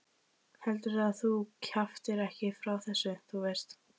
Heldurðu að þú kjaftir nokkuð frá þessu. þú veist?